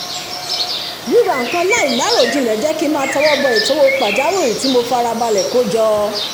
ríra nǹkan láìláròjinlẹ̀ jẹ́ kí n máa tọwọ́ bọ ètò owó pàjáwìrì tí mo fi farabalẹ̀ kó jọ